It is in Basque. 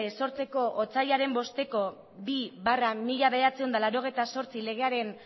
sortzeko otsailaren bosteko bi barra mila bederatziehun eta laurogeita zortzi legearen